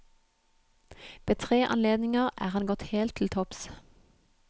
Ved tre anledninger er han gått helt til topps.